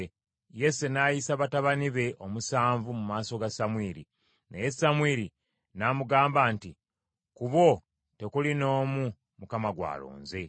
Yese n’ayisa batabani be omusanvu mu maaso ga Samwiri, naye Samwiri n’amugamba nti, “Ku bo tekuli n’omu Mukama gw’alonze.”